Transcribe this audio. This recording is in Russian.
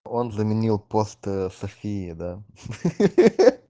он заменил пост софии да ха-ха-ха